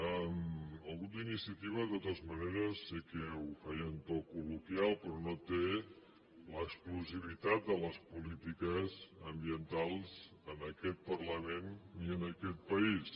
el grup d’iniciativa de totes maneres sé que ho feia en to col·loquial però no té l’exclusivitat de les polítiques ambientals en aquest parlament ni en aquest país